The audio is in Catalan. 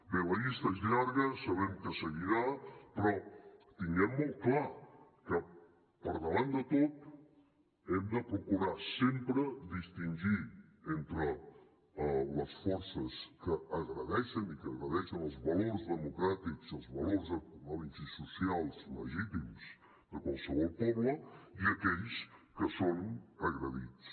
bé la llista és llarga sabem que seguirà però tinguem molt clar que per davant de tot hem de procurar sempre distingir entre les forces que agredeixen i que agredeixen els valors democràtics i els valors econòmics i socials legítims de qualsevol poble i aquells que són agredits